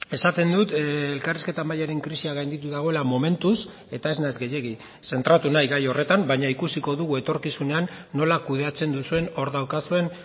esaten dut elkarrizketa mahaiaren krisia gainditu dagoela momentuz eta ez naiz gehiegi zentratu nahi gai horretan baina ikusiko dugu etorkizunean nola kudeatzen duzuen hor daukazuen